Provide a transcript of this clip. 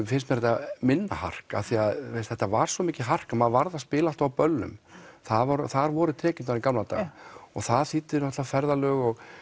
finnst mér þetta minna hark af því að þetta var svo mikið hark maður varð að spila alltaf á böllum þar voru þar voru tekjurnar í gamla daga og það þýddi náttúrulega ferðalög og